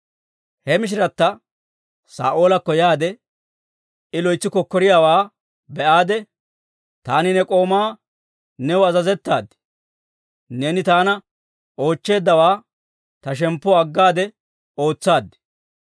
He mishiratta Saa'oolakko yaade, I loytsi kokkoriyaawaa be'aade, «Taani ne k'oomatta new azazettaaddi; neeni taana oochcheeddawaa ta shemppuwaa aggaade ootsaad.